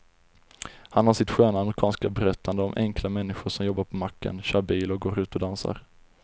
Han har sitt sköna amerikanska berättande om enkla människor som jobbar på macken, kör bil och går ut och dansar.